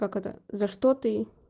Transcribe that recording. как это за что ты